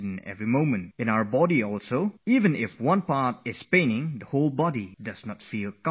You must have experienced that when one part of your body feels a little bit of pain, the entire body doesn't feel well